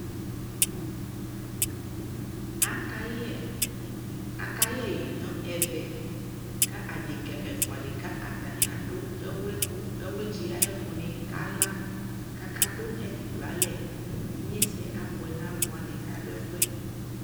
aka yɛ ɛyi nʋ ɛvɛ kʋ adɛka ɛƒʋa di kʋ atani dʋ ɛwli kʋ, ɛwli tsi ayi ɛkʋ ni kala kʋ aka dʋɛdi dʋalɛ, inyɛsɛ abʋɛ nʋ alʋ wani kʋ adʋ ɛƒʋɛ